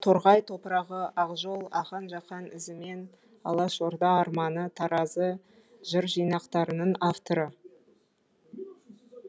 торғай топырағы ақжол ахаң жақаң ізімен алаш орда арманы таразы жыр жинақтарының авторы